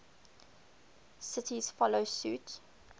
cities follow suit